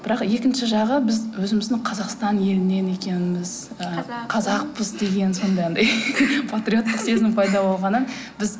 бірақ екінші жағы біз өзіміздің қазақстан елінен екенбіз ы қазақпыз деген сондай анадай патриоттық сезім пайда болғаннан біз